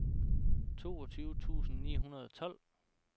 toogtyve tusind ni hundrede og tolv